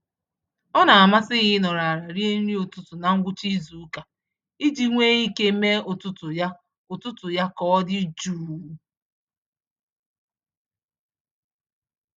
Ọna amasị ya ịnọrọ àlà rie nri ụtụtụ na ngwụcha izuka, iji nwe ike mee ụtụtụ ya ụtụtụ ya k'ọdi jụụ